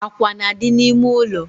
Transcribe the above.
Akwa na-adị n’ime ụlọ